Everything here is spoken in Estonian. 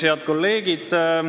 Head kolleegid!